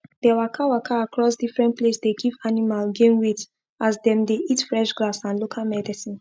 the waka waka across different place dey give animal gain weight as them dey eat fresh grass and local medicine